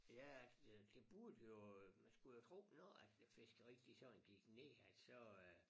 Ja øh det burde jo øh man skulle jo tro når at det fiskeri det sådan gik ned at så øh